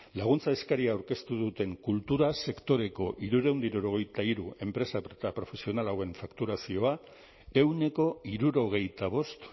laguntza eskaria aurkeztu duten kultura sektoreko hirurehun eta hirurogeita hiru enpresa eta profesional hauen fakturazioa ehuneko hirurogeita bost